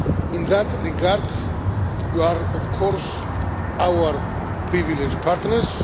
In that regard, you are, of course, our privileged